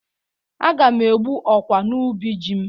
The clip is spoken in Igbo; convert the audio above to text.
Aga m egbu ọkwa n'ubi ji m.